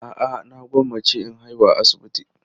A'a, na gwammace in haihu a asibiti.